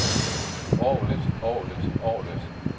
orglet orglet orglet